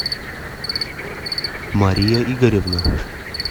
мария игоревна